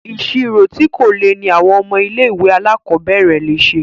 Ìṣirò tí kò le ní àwọn ọmọ ilé ìwé alákọ̀berẹ̀ le ṣe.